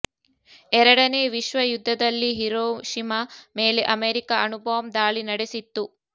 ಎರಡನೇ ವಿಶ್ವಯುದ್ಧದಲ್ಲಿ ಹಿರೋಷಿಮಾ ಮೇಲೆ ಅಮೆರಿಕ ಅಣು ಬಾಂಬ್ ದಾಳಿ ನಡೆಸಿತ್ತು